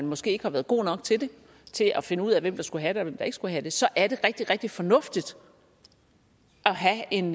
måske ikke har været gode nok til til at finde ud af hvem der skulle have statsborgerskab og hvem der ikke skulle have det så er det rigtig rigtig fornuftigt at have en